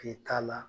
K'i k'a la